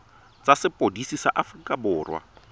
tsa sepodisi sa aforika borwa